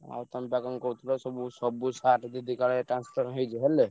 ଆଉ ତମେବା କଣ କହୁଥିଲ ସବୁ ସବୁ sir ଦିଦି କାଳେ transfer ହେଇଯେ ହେଲେ?